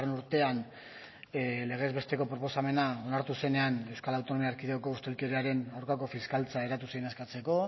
urtean legez besteko proposamena onartu zenean euskal autonomia erkidegoko ustelkeriaren aurkako fiskaltza zen eskatzeko